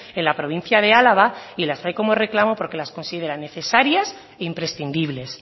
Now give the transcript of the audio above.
en la provincia de álava y las trae como reclamo porque las considera necesarias imprescindibles